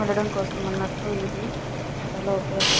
ఉండడం కోసం అన్నట్లు ఇది చాల ఉపయోగకరం.